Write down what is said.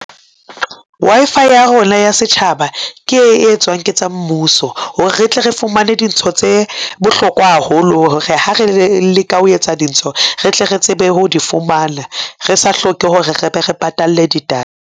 Wi-Fi ya rona ya setjhaba ke e etswang ke tsa mmuso. Hore re tle re fumane dintho tse bohlokwa haholo ho re ha re leka ho etsa dintho, re tle re tsebe ho di fumana, re sa hloke hore re be re patalle di data.